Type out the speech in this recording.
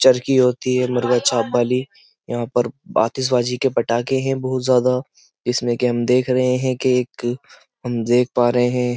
चरकी होती है मुर्गा छाप वाली यहाँ पर आतिशभाजी के पटाखे हैं बहुत ज्यादा जिसमें कि हम देख रहे हैं कि एक हम देख पा रहे हैं।